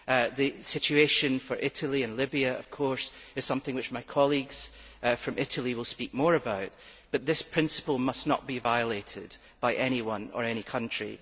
The situation for Italy and Libya is, of course, something which my colleagues from Italy will speak more about, but this principle must not be violated by anyone or any country.